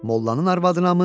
Mollanın arvadınamı?